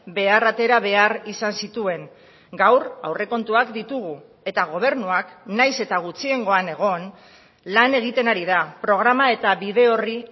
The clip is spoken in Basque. behar atera behar izan zituen gaur aurrekontuak ditugu eta gobernuak nahiz eta gutxiengoan egon lan egiten ari da programa eta bide orri